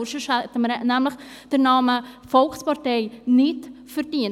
Andernfalls hätten wir den Namen Volkspartei nicht verdient.